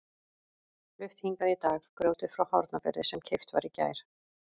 Flutt hingað í dag grjótið frá Hornafirði sem keypt var í gær.